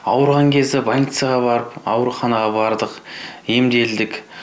ауырған кезде больницаға барып ауруханаға бардық емделдік